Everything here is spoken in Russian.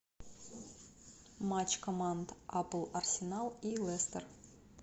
матч команд апл арсенал и лестер